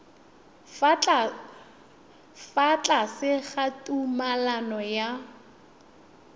fa tlase ga tumalano ya